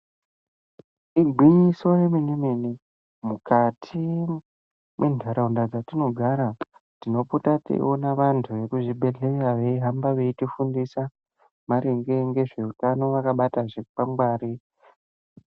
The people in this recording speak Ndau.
Igwinyiso remene mene mukati mwentaraunda dzetinogara tinopota teiona vantu vekuzvibhehleya veihamba veitifundisa maringe ngezveutano vakabata zvikwangwari.